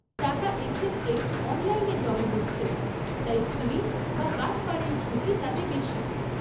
টাকা এক্ষেত্রে 'অনলাইনে' জমা হচ্ছে, তাই চুরি বা বাটপাড়ির ঝুঁকি তাতে বেশি।